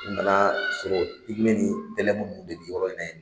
U nana sɔrɔ ni tɛlɛmu nun de bɛ yɔrɔ in na ye.